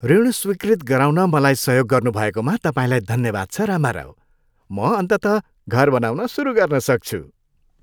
ऋण स्वीकृत गराउन मलाई सहयोग गर्नुभएकोमा तपाईँलाई धन्यवाद छ, रामाराव। म अन्ततः घर बनाउन सुरु गर्न सक्छु।